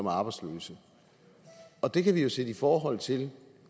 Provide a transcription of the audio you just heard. er arbejdsløse og det kan vi jo sætte i forhold til